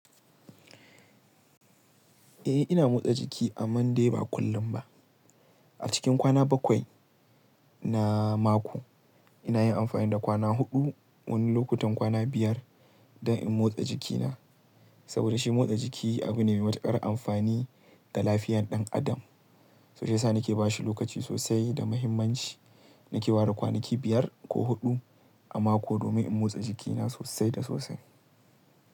Eh ina motsa jiki amma dai ba kullum ba. A cikin kwana bakwai na mako ina yin amfani da kwana huɗu, wani lokutan kwana biyar don in motsa jikina. Saboda shi motsa jiki abu ne mai matuƙar amfani ga lafiyar ɗan adam. So sa na ke ba shi lokaci sosai da mahimmanci. Na ke ware kwanaki biyar ko huɗu a mako domin in motsa jikina sosai da sosai.